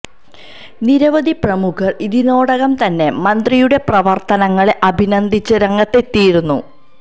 നിരവധി പ്രമുഖര് ഇതിനോടകം തന്നെ മന്ത്രിയുടെ പ്രവര്ത്തനങ്ങളെ അഭിനന്ദിച്ച് രംഗത്ത് എത്തിയിരുന്നു